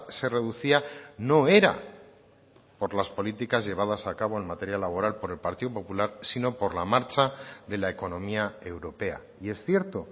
se reducía no era por las políticas llevadas a cabo en materia laboral por el partido popular sino por la marcha de la economía europea y es cierto